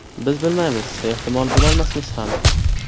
Biz bilmaymiz, ehtimol bilolmasmiz ham.